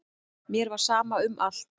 Mér var sama um allt.